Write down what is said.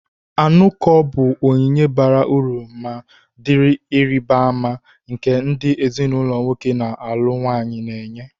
Anuko bụ onyinye bara uru ma dị ịrịba ama, nke ndị ezinụlọ nwoke na-alụ nwanyị na-enye.